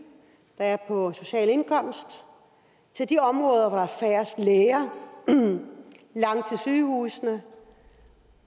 der er på social indkomst til de områder hvor der er færrest læger langt til sygehusene